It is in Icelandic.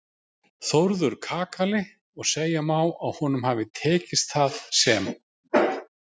Þórður kakali og segja má að honum hafi tekist það sem